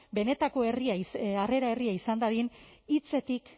benetako harrera herria izan dadin hitzetik